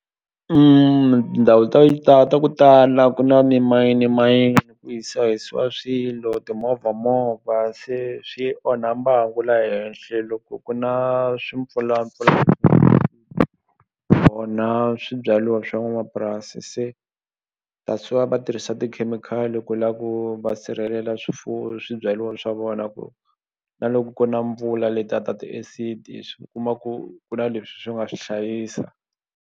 Tindhawu ta yi ta ku tala ku na mimayini mayini ku hisahisiwa swilo timovha movha se swi onha mbangu la henhle loko ku na swimpfulampfulani onha swibyaliwa swa n'wanamapurasi se that's why va tirhisa tikhemikhali ku la ku va sirhelela swifuwo swibyaliwa swa vona ku na loko ku na mpfula leta ta ti-acid swi kuma ku ku na leswi swi nga swi hlayisa.